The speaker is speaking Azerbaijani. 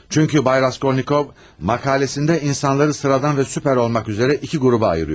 Çünki cənab Raskolnikov məqaləsində insanları sıradan və süper olmaq üzrə iki qrupa ayırır.